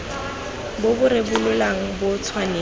bo bo rebolang bo tshwanetse